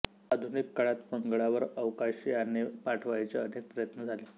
आधुनिक काळात मंगळावर अवकाशयाने पाठवायचे अनेक प्रयत्न झाले